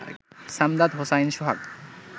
Samdad Hossain Sohag